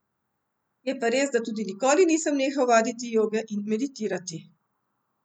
Je pa res, da tudi nikoli nisem nehal vaditi joge in meditirati.